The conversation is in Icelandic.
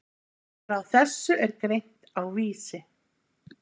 Frá þessu er greint á Vísi.